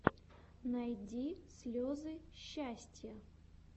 найди слезы счастья